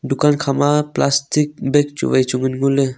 dukan kha ma plastic bag chuwai chu ngan ngole.